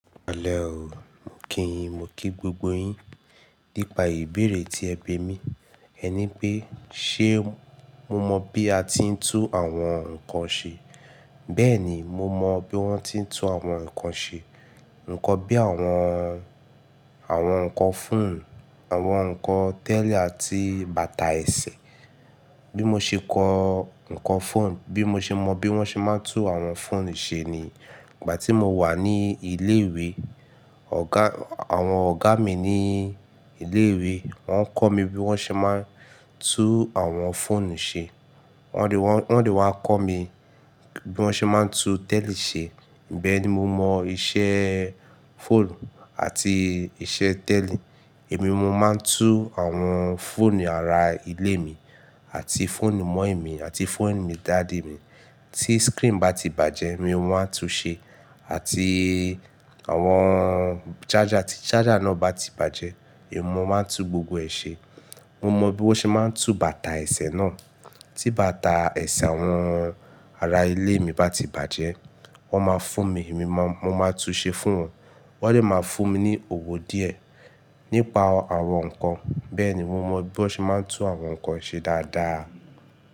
Pẹlẹ o, mo kíyin, mo kí gbogbo yin. Nípa ìbéèrè tí ẹ bimí, ẹ ní pé ṣé mo mọ bí a ti ń tún àwọn nǹkan ṣe. Bẹ́ẹ̀ni, mo mọ bí wọ́n ti ń tún àwọn nǹkan ṣe. Nǹkan bí àwọn, àwọn nǹkan fóònù, àwọn nǹkan tẹ́li àti bàtà ẹsẹ̀. Bí mo ṣe kọ nǹkan fóònù, bí mo ṣe mọ bí wọ́n ṣe máa ń tún àwọn fóònù ṣe ni ìgbà tí mo wà ní ilé-ìwé. Ọ̀gá, àwọn ọ̀gá mi ní ilé-ìwé wọ́n kọ́ mi bí wọ́n ṣe máa ń tún àwọn fóònù ṣe. Wọ́n dẹ wọ́n dẹ wá kọ́ mi bí wọ́n ṣe máa ń tún tẹ́li ṣe. Ìbẹ́ẹ̀ ni mo mọ iṣẹ́ fóònù àti iṣẹ́ tẹ́li. Èmi, mo máa ń tún àwọn fóònù ará ilé mi àti fóònù mọ́ìmí àti fóònù mi daddy mi. Tí screen bá ti bàjẹ́, èmi mo máa ń tún ṣe àti àwọn charger ti charger náà bá ti bàjẹ́, èmi mo máa ń tún gbogbo ẹ̀ ṣe. Mo mọ bí wọ́n ṣe máa ń tún bàtà ẹsẹ̀ náà. Tí bàtà ẹsẹ̀ àwọn ará ilé mi bá ti bàjẹ́, wọ́n máa fún mi, èmi má, mo máa tún ṣe fún wọn. Wọ́n lè máa fún mi ní owó díẹ̀ nípa àwọn nǹkan. Bẹ́ẹ̀ ni mo mọ bí wọ́n ṣe máa ń tún àwọn nǹkan ṣe dáadáa.